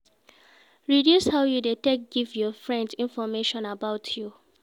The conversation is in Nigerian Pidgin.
Reduce how you de take give your friend information about you